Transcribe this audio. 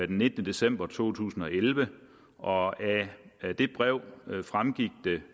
den nittende december to tusind og elleve og af det brev fremgik